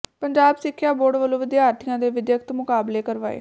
ਪੰਜਾਬ ਸਿੱਖਿਆ ਬੋਰਡ ਵੱਲੋਂ ਵਿਦਿਆਰਥੀਆਂ ਦੇ ਵਿੱਦਿਅਕ ਮੁਕਾਬਲੇ ਕਰਵਾਏ